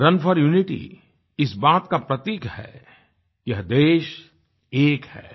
run for unity इस बात का प्रतीक है यह देश एक है